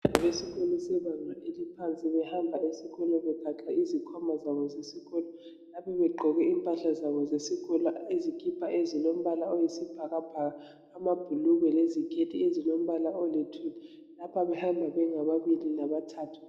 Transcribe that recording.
Abantwana besikolo sebanga eliphansi behamba esikolo begaxe izikhwama zabo zesikolo Ngapha begqoke impahla zabo zesikolo izikipa ezilombala oyisibhakabhaka amabhulugwe leziketi ezilombala oluthuli . Ngapha behamba bengababili ngabathathu.